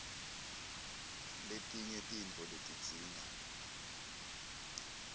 letinye tintfo letidzinga